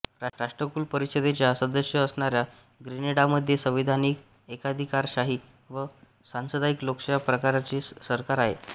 राष्ट्रकुल परिषदेचा सदस्य असणाऱ्या ग्रेनेडामध्ये संविधानिक एकाधिकारशाही व सांसदीय लोकशाही प्रकारचे सरकार आहे